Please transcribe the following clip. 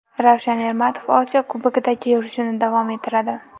Ravshan Ermatov Osiyo Kubogidagi yurishini davom ettiradi.